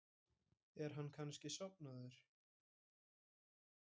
Er hann kannski sofnaður?